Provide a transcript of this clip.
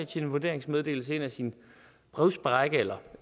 til en vurderingsmeddelelse ind ad sin brevsprække eller